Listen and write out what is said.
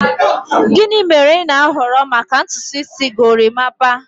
Gịnị mere ị na-ahọrọ maka ntutu isi gorimapa?